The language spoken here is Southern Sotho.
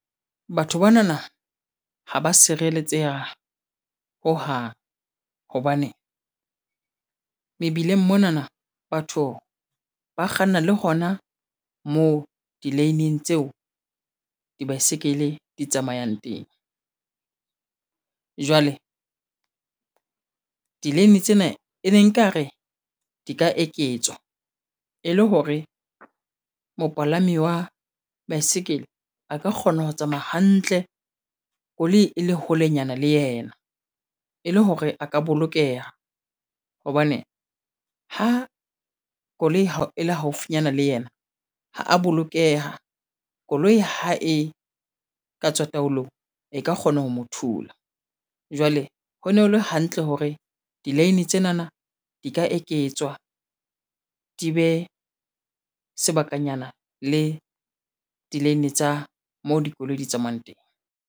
Batho banana ha ba sireletseha hohang hobane mebileng mona na batho ba kganna le hona moo di-lane tseo di baesekele di tsamayang teng, jwale di-lane tsena e ne nkare di ka eketswa e le hore mopalami wa baesekele a ka kgona ho tsamaya hantle koloi e le holenyana le yena, e le hore a ka bolokeha hobane ha koloi ha e le haufinyana le yena ha a bolokeha, koloi ha e ka tswa taolong e ka kgona ho mo thula, jwale ho ne ho le hantle hore di-lane tsena di ka eketswa, di be sebakanyana le di-lane tsa moo dikoloi di tsamayang teng.